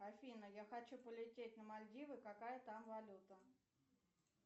афина я хочу полететь на мальдивы какая там валюта